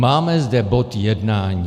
Máme zde bod jednání.